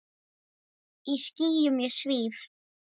Í skýjum ég svíf.